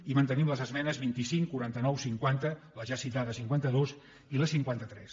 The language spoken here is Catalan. i mantenim les esmenes vint cinc quaranta nou cinquanta la ja citada cinquanta dos i la cinquanta tres